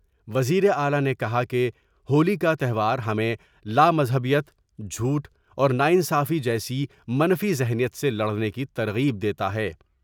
وزیر اعلی نے کہا کہ ہولی کا تیوہار ہمیں لامذہبیت ، جھوٹ اور نا انصافی جیسی منفی ذہنیت سے لڑنے کی ترغیب دیتا ہے ۔